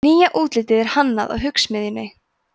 nýja útlitið er hannað af hugsmiðjunni